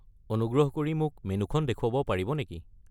অনুগ্ৰহ কৰি মোক মেন্যুখন দেখুৱাব পাৰিব নেকি?